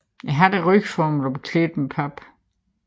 Hatten er løgformet og beklædt med pap